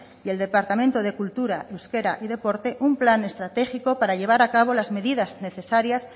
y el departamento de cultura euskera y deporte un plan estratégico para llevar a cabo las medidas necesarias